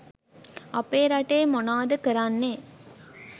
අපේ රටේ මොනාද කරන්නේ